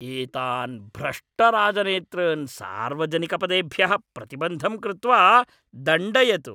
एतान् भ्रष्टराजनेतॄन् सार्वजनिकपदेभ्यः प्रतिबन्धं कृत्वा दण्डयतु।